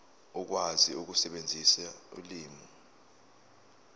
ukwazi ukusebenzisa ulimi